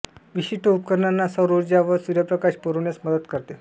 विशिष्ट उपकरणांना सौर उर्जा व सूर्यप्रकाश पूरविण्यास मदत करते